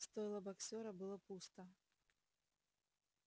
стойло боксёра было пусто